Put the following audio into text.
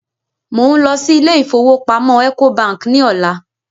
Mò ń lọ sí ilé ìfowópamọ́ Ecobank ní ọ̀la